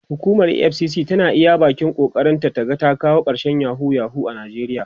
hukumar EFCC tana iya ƙoƙarin ta ta ga ta kawo karshen yahoo yahoo a nijeriya